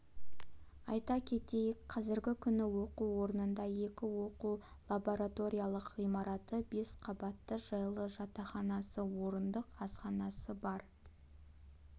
айта кетейік қазіргі күні оқу орнында екі оқу-лабораториялық ғимараты бес қабатты жайлы жатақханасы орындық асханасы бар